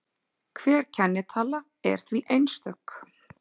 Hver kennitala er því einstök.